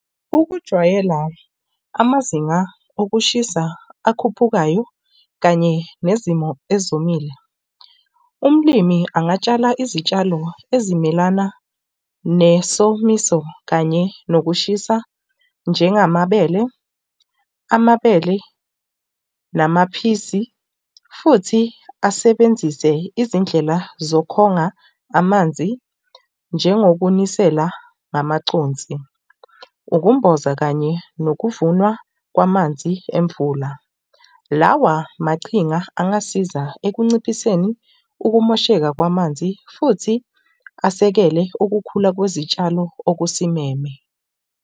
Ukujwayela amazinga okushisa akhuphukayo kanye nezimo ezomile. Umlimi angatshala izitshalo ezimelana nesomiso kanye nokushisa. Njengamabele, amabele namaphisi futhi asebenzise izindlela zokonga amanzi, njengokunisela ngamaconsi, ukumbozwa kanye nokuvuna kwamanzi emvula. Lawa machinga angasiza ekunciphiseni ukumosheka kwamanzi futhi asekele ukukhula kwezitshalo okusimeme.